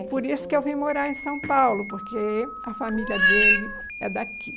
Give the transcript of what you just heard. E por isso que eu vim morar em São Paulo, porque a família dele é daqui.